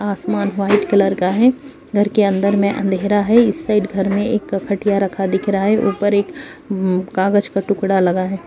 आसमान white colour का है। घर के अंदर में अंधेर है। इस साइड घर में एक क्-खटिया रखा दिख रहा है उपर एक म् कागज का टुकड़ा लगा है।